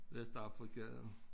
Vestafrika og